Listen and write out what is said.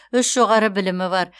үш жоғары білімі бар